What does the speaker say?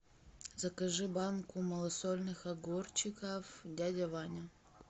закажи банку малосольных огурчиков дядя ваня